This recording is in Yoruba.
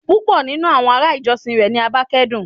Pupọ ninu awọn ará ìjọsìn rẹ ni ó báa kẹ́dùn